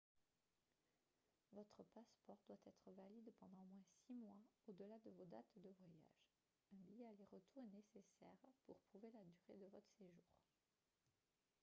votre passeport doit être valide pendant au moins six mois au-delà de vos dates de voyage un billet aller-retour est nécessaire pour prouver la durée de votre séjour